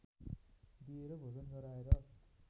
दिएर भोजन गराएर